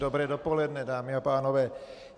Dobré dopoledne, dámy a pánové.